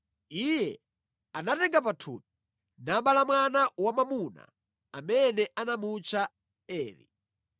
Iye anatenga pathupi, nabala mwana wamwamuna amene anamutcha Eri.